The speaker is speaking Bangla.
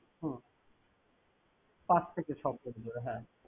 হম। পাঁচ থেকে ছয় foot দূরে, হ্যাঁ।